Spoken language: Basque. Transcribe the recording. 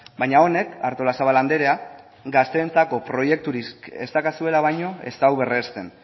baina honek artolazabal andrea gazteentzako proiekturik ez daukazuela baino ez du berresten